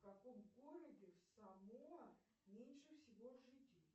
в каком городе в самоа меньше всего жителей